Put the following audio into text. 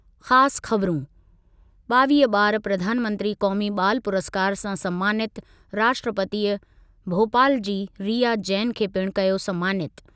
ख़ासि ख़बरूं, ॿावीह ॿार प्रधानमंत्री क़ौमी ॿाल पुरस्कारु सां समानितु, राष्ट्रपतीअ भोपाल जी रिया जैन खे पिणु कयो समानितु।